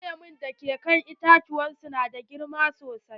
Duk lemu da ke kan itacen su na da girma sosai.